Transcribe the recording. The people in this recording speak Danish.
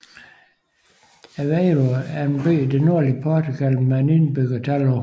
Aveiro er en by i det nordlige Portugal med et indbyggertal på